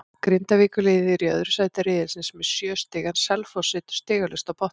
Grindavíkurliðið er í öðru sæti riðilsins með sjö stig en Selfoss situr stigalaust á botninum.